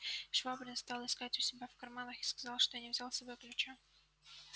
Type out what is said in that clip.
швабрин стал искать у себя в карманах и сказал что не взял с собою ключа